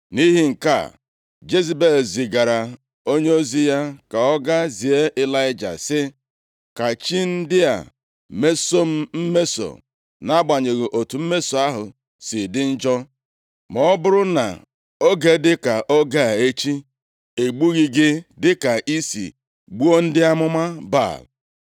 Nʼihi nke a, Jezebel zigara onyeozi ka ọ ga zie Ịlaịja sị, “Ka chi ndị a mesoo m mmeso, nʼagbanyeghị otu mmeso ahụ si dị njọ, ma ọ bụrụ na oge dịka oge a echi, egbughị gị dịka i si gbuo ndị amụma Baal.”